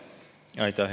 Aitäh!